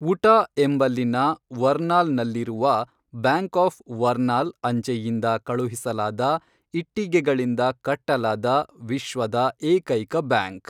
Utah ಎಂಬಲ್ಲಿನ ವರ್ನಾಲ್‌ನಲ್ಲಿರುವ Bank of Vernal ಅಂಚೆಯಿಂದ ಕಳುಹಿಸಲಾದ ಇಟ್ಟಿಗೆಗಳಿಂದ ಕಟ್ಟಲಾದ ವಿಶ್ವದ ಏಕೈಕ ಬ್ಯಾಂಕ್